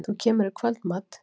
Þú kemur í kvöldmat?